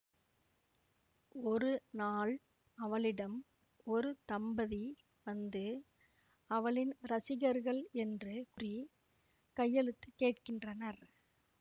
ஒரு நாள் அவளிடம் ஒரு தம்பதி வந்து அவளின் ரசிககர்கள் என்று கூறி கையெழுத்து கேட்கின்றனர்